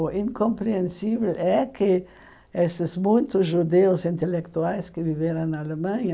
O incompreensível é que esses muitos judeus intelectuais que viveram na Alemanha